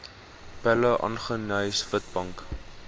pella aggeneys witbank